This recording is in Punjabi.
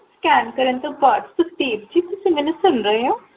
Scan ਕਰਨ ਤੋ ਬਾਦ ਸੁਖਦੇਵ ਜੀ ਤੁਸੀਂ ਮੈਨੂ ਸੁਨ ਰਹੇ ਹੋ